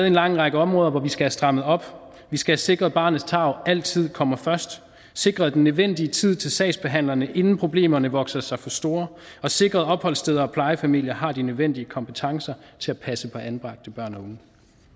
en lang række områder hvor vi skal have strammet op vi skal sikre at barnets tarv altid kommer først sikre den nødvendige tid til sagsbehandlerne inden problemerne vokser sig for store og sikre at opholdssteder og plejefamilier har de nødvendige kompetencer til at passe på anbragte børn